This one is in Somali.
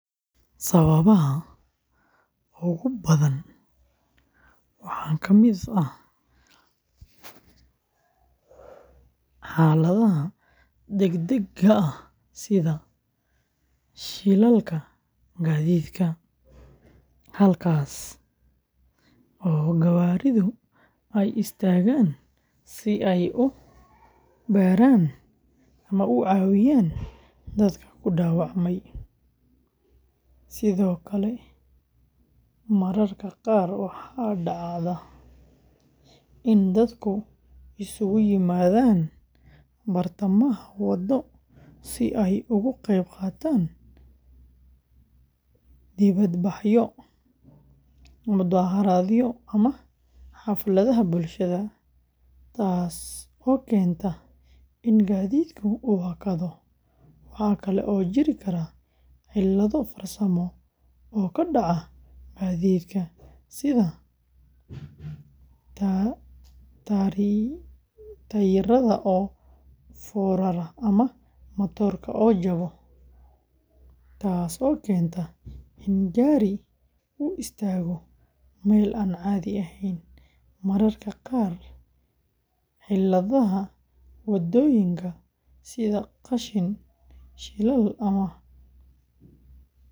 Sababaha ugu badan waxa ka mid ah xaaladaha degdegga ah sida shilalka gaadiidka, halkaas oo gawaaridu istaagaan si ay u caawiyaan ama u badbaadiyaan ama u cawiyaaan dadka ku dhaawacmay. Sidoo kale, mararka qaar waxaa dhacda in dadka ay isku yimaadaan bartamaha wadooyinka, si ay uga qaybqaataan banaanbaxyo, mudaaharaadyo, ama xafladaha bulshada, taas oo sababta in gaadiidku hakado. Waxaa kale oo jiri kara cilado farsamo oo ka daco gaariga sida tayarada oo furmoama matorka oo jaba, taasoo keenta in gaarigu istaago meel aan cadi ahayn . Mararka qaarna ciladaha ka jira waddooyinka , sida qashinka shilal ama ...